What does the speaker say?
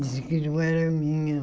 Dizia que não era a minha.